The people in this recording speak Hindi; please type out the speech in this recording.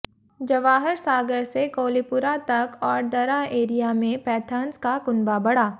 जवाहर सागर से कोलीपुरा तक और दरा एरिया में पैंथर्स का कुनबा बढ़ा